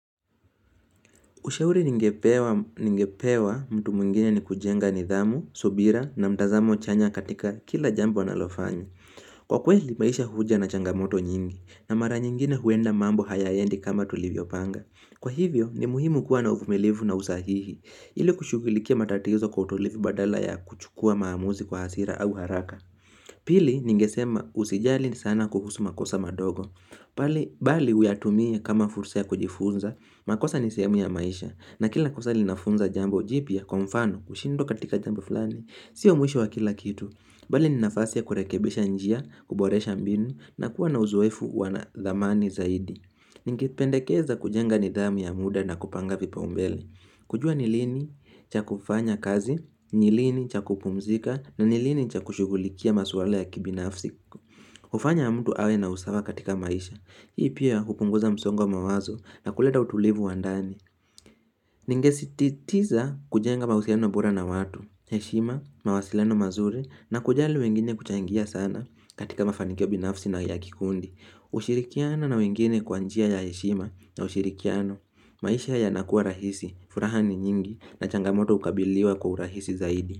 Ushauri ningepewa mtu mwingine ni kujenga nidhamu, subira na mtazamo chanya katika kila jambo analofanya. Kwa kweli, maisha huja na changamoto nyingi na mara nyingine huenda mambo hayaendi kama tulivyo panga. Kwa hivyo, ni muhimu kuwa na uvumilivu na usahihi ili kushugulikia matatizo kwa utulivi badala ya kuchukua maamuzi kwa hasira au haraka. Pili, ningesema usijali ni sana kuhusu makosa madogo. Bali, bali uyatumie kama fursa ya kujifunza, makosa nisiamu ya maisha na kila kosa linafunza jambo jipya, kwa mfano, kushindwa katika jambo fulani Sio mwisho wa kila kitu Bali, ni nafasi ya kurekebesha njia, kuboresha mbinu, na kuwa na uzoefu wana dhamani zaidi Ningependekeza kujenga nidhamu ya muda na kupanga vipa umbele kujua ni lini, cha kufanya kazi, ni lini, cha kukumzika, na ni lini, cha kushugulikia maswala ya kibinafsi kufanya mtu awe na usawa katika maisha Hii pia kupunguza msongo wa mawazo na kuleta utulivu wa ndani. Ningesititiza kujenga mahusiano bora na watu, heshima, mawasiliano mazuri na kujali wengine kuchaingia sana katika mafanikio binafsi na ya kikundi. Ushirikiana na wengine kwa njia ya heshima na ushirikiano. Maisha yanakuwa rahisi, furaha ni nyingi na changamoto ukabiliwa kwa urahisi zaidi.